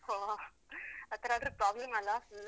ಒಹ್ ಆತರ ಆದ್ರೆ problem ಅಲ್ಲಾ full ಉ.